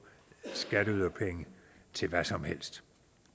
skatteyderpenge til hvad som helst